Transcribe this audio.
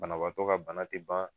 Banabaatɔ ka bana te ban